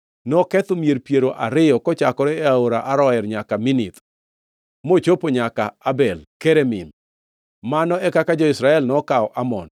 Noketho mier piero ariyo kochakore e aora Aroer nyaka Minith, mochopo nyaka Abel Keramim. Mano e kaka jo-Israel nokawo Amon.